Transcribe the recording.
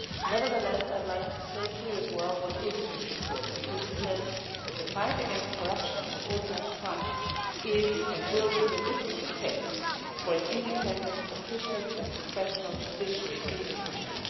Nevertheless, I would like to state here as well what is in this report because it says that the fight against corruption and organised crime is, and will be, the litmus test for an independent, efficient and professional judiciary in the country.